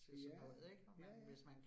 Ja. Ja ja